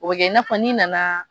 O bɛ kɛ i n'a fɔ n'i nana